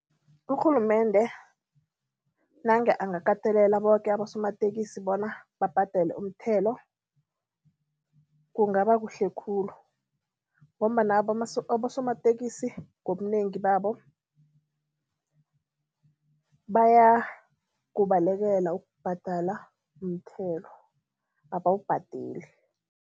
Urhulumende nange angakatelela boke abosomatekisi bona babhadele umthelo kungaba kuhle khulu ngombana abosomatekisi ngobunengi babo bayakubalekela ukubhadala umthelo, abawubhadeli.